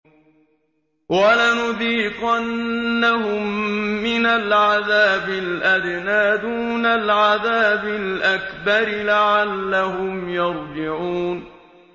وَلَنُذِيقَنَّهُم مِّنَ الْعَذَابِ الْأَدْنَىٰ دُونَ الْعَذَابِ الْأَكْبَرِ لَعَلَّهُمْ يَرْجِعُونَ